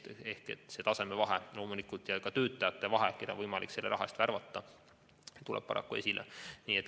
Loomulikult see rahastamistaseme vahe ja ka töötajate hulk, keda on võimalik selle raha eest värvata, tuleb paraku esile.